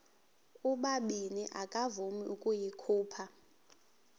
ubabini akavuma ukuyikhupha